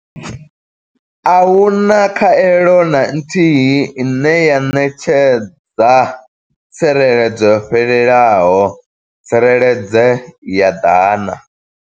A hu na khaelo na nthihi ine ya ṋetshedza tsireledzo yo fhelelaho tsireledze ya dana.